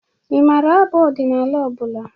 Ị mara abụ ọdịnala ọbụla?